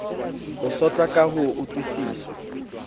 ho sotlwa ka ho utlwiswa